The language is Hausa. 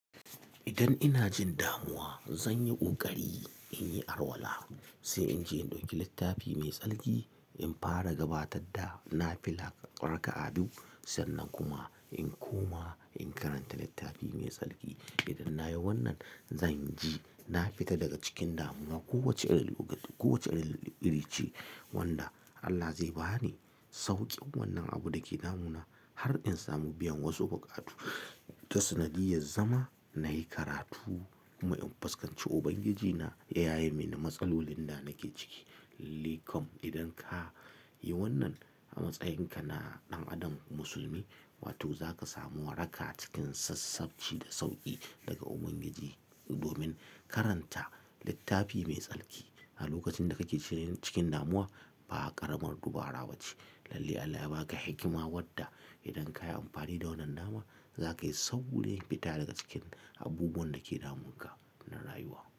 Idan ina jin damuwa, zan yi ƙoƙari in yi alwala, sai in je in ɗauki littafi mai tsarki in fara gabatar da nafila ƙarƙa abu. Sannan kuma in koma in karanta littafi mai tsarki. Idan na yi wannan, zan ji na fita daga cikin damuwa kowace irin lokaci, kowace iri ce wanda Allah zai ba ni sauƙin wannan abun da ke damu na har in samu biyan wasu buƙatu ta sanadiyar zama na yi karatu kuma in fuskanci Ubangijina da yaye mani matsalolin da nake ciki. Likom idan ka yi wannan a matsayinka na ɗan adam musulmi, wato za ka samu waraka cikin sassafci da sauƙi daga Ubangiji domin karanta littafi mai tsarki a lokacin da kake cikin damuwa ba ƙaramar dubara ba ce. Lalle Allah ya ba ka hikima wadda idan ka yi amfani da wannan dama, za ka yi saɓulein fita daga cikin abubuwan da ke damunka na rayuwa.